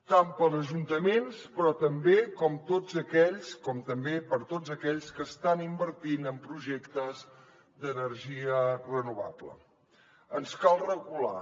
tant per a ajuntaments com també per a tots aquells que estan invertint en projectes d’energia renovable ens cal regular